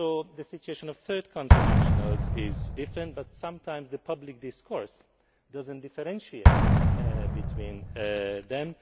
The situation of third country nationals is also different, but sometimes the public discourse does not differentiate between them.